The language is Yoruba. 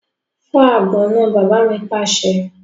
Fọ́ àgbọn náà! Bàbá mi pàṣẹ.